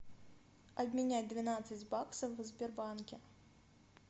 обменять двенадцать баксов в сбербанке